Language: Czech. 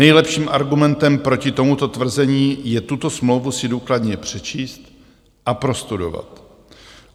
Nejlepším argumentem proti tomuto tvrzení je tuto smlouvu si důkladně přečíst a prostudovat.